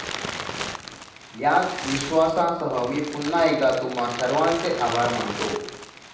याच विश्वासासह मी पुन्हा एकदा तुम्हा सर्वांचे आभार मानतो.